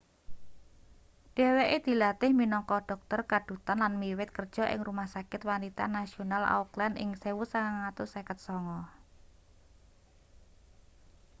dheweke dilatih minangka dhokter kadhutan lan wiwit kerja ing rumah sakit wanita nasional auckland ing 1959